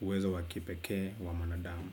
uwezo wa kipekee wa mwanadamu.